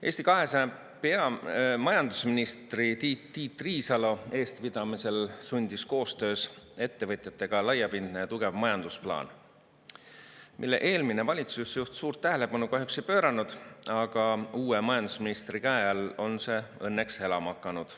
Eesti 200 majandusministri Tiit Riisalo eestvedamisel sündis koostöös ettevõtjatega laiapindne ja tugev majandusplaan, millele eelmine valitsusjuht kahjuks suurt tähelepanu ei pööranud, aga uue majandusministri käe all on see õnneks elama hakanud.